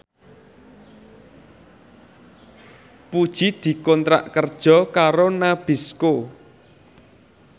Puji dikontrak kerja karo Nabisco